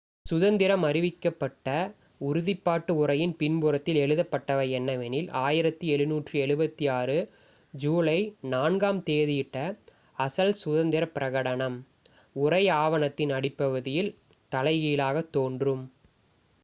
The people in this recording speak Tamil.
"சுதந்திரம் அறிவிக்கப்பட்ட உறுதிப்பாட்டு உரையின் பின்புறத்தில் எழுதப்பட்டவை என்னவெனில் "1776 ஜூலை 4-ஆம் தேதியிட்ட அசல் சுதந்திர பிரகடனம்"". உரை ஆவணத்தின் அடிப்பகுதியில் தலைகீழாகத் தோன்றும்.